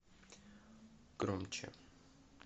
громче